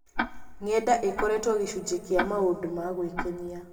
Ng’enda ikoretwo gĩcunjĩ kĩa maũndũ ma gwĩkenia.